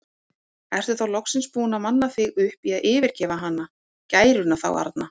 Ertu þá loksins búinn að manna þig upp í að yfirgefa hana, gæruna þá arna?